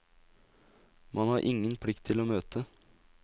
Man har ingen plikt til å møte.